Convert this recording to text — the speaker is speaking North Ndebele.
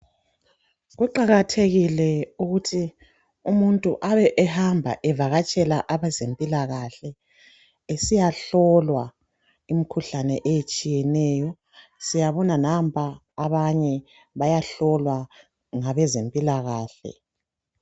Kuqakathekile ukuthi umuntu abe ehamba evakatshela abezempilakahle. Esiyahlolwa imikhuhlane etshiyeneyo. Siyabonga nampa abanye bayahlolwa ngabezempilakahle.